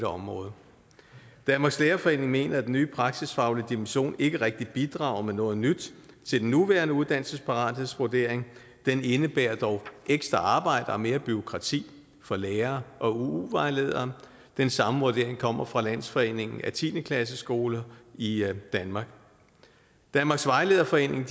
området danmarks lærerforening mener at den nye praksisfaglige dimension ikke rigtig bidrager med noget nyt til den nuværende uddannelsesparathedsvurdering den indebærer dog ekstra arbejde og mere bureaukrati for lærere og uu vejledere den samme vurdering kommer fra landsforeningen af tiende klasseskoler i danmark danmarks vejlederforening